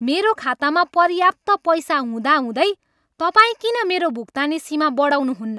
मेरो खातामा पर्याप्त पैसा हुँदाहुँदै तपाईँ किन मेरो भुक्तानी सीमा बढाउनुहुन्न?